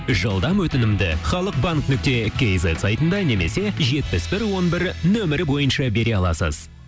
жылдам өтінімді халық банк нүкте кейзет сайтында немесе жетпіс бір он бір нөмірі бойынша бере аласыз